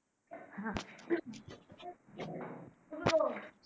হা